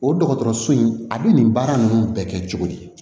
O dɔgɔtɔrɔso in a bɛ nin baara ninnu bɛɛ kɛ cogo di